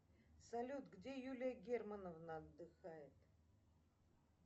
салют где юлия германовна отдыхает